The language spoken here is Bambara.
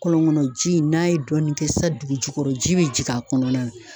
Kɔlɔn kɔnɔ ji in n'a ye dɔɔnin kɛ sisan dugu jukɔrɔ ji be jigi a kɔnɔna na